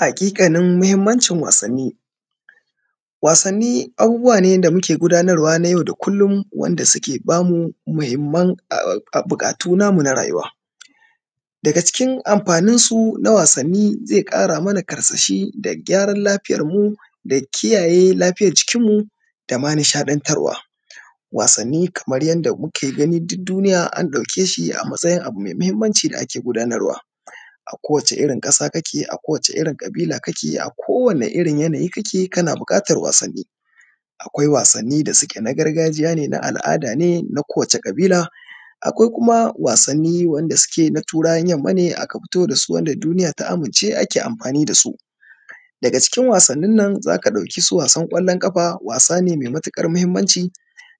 Hakikanin mahimmancin wassani. Wassani abubuwa ne da muke gudanarwa na yau da kullum wanda suke bamu mahimman um bukatu namu na rayuwa. um Daga cikin amfanin su na wassani zai kara mana karsashi da gyaran lafiyar mu, da kiyaye lafiyar jikin mu dama nishadantarwa. Wassani Kaman yadda kuke gani duk duniya an daukeshi a matsayin abu mai mahimmanci da ake gudanarwa, ako wace irin kasa kake a ko wace irrin kabila kake a ko wace irrin yanayi kake kana bukatan wasanni akwai wasanni da suke na gargajiya ne na al’ada ne na kowace kabila akwai kuma wasanni wanda suke na turawan yamma ne aka fito dasu wanda duniya ta amince ake amfani dasu daga cikin wasannin na zaka dauki su wasan kwallon kafa wasane mai matukar mahimmanci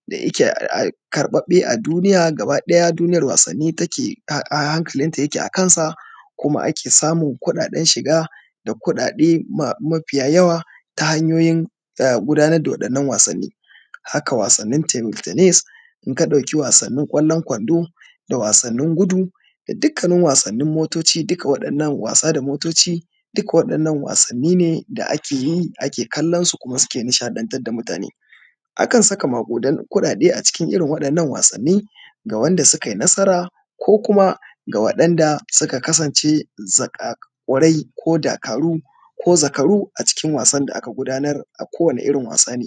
da yake um karbabbe a duniyar gaba daya, duniyar wasanni take a hankalin ta yake akansa kuma ake samun kuden shiga da kudade ma mafiya yawa ta hanyoyin gudanar da wannan wassani. Haka wassanin table tannis inka dauki wassanini kwallon Kwando, da wasannin gudu, da dukkaknin wasannin motoci duka wadannan wasa da motoci duka waddan nan wasanni ne da akeyi kuma a ke kallon su kuma suke nishadantar da mutane. Akan saka makudan kudade a cikin irin waddan nan wassanni ga wanda sukai nasara ko kuma ga wanda suka kasan ce zakakurai ko dakaru ko zakaru a cikin wassan da aka gudanar a kowani irrin wasa ne.